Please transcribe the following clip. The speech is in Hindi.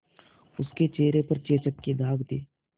उसके चेहरे पर चेचक के दाग थे